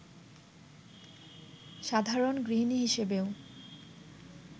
সাধারণ গৃহিণী হিসেবেও